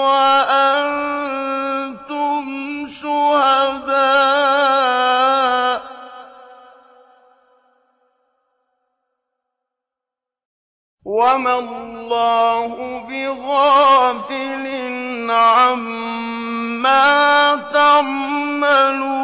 وَأَنتُمْ شُهَدَاءُ ۗ وَمَا اللَّهُ بِغَافِلٍ عَمَّا تَعْمَلُونَ